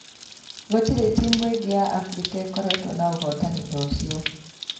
Gũtirĩ timũ ĩngĩ ya Abirika ĩkoretwo na ũhootani ta ũcio.